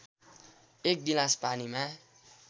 १ गिलास पानीमा